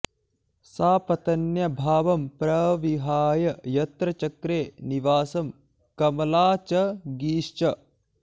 सापत्न्यभावं प्रविहाय यत्र चक्रे निवासं कमला च गीश्च